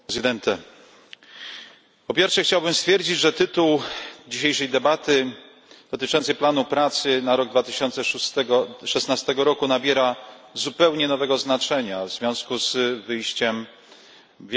Po pierwsze, chciałbym stwierdzić, że tytuł dzisiejszej debaty dotyczący planu pracy na rok 2017 nabiera zupełnie nowego znaczenia w związku z wyjściem Wielkiej Brytanii z Unii Europejskiej.